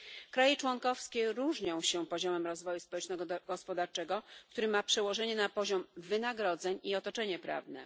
Państwa członkowskie różnią się poziomem rozwoju społeczno gospodarczego, który ma przełożenie na poziom wynagrodzeń i otoczenie prawne.